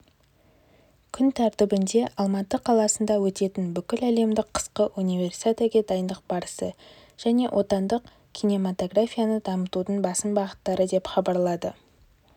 күн тәртібінде алматы қаласында өтетін бүкіләлемдік қысқы универсиада ге дайындық барысы және отандық кинематографияны дамытудың басым бағыттары деп хабарлады